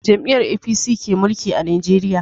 Jam'iyyar APC ke mulki a Najeriya.